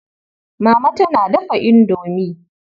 Mama tana dafa indomi.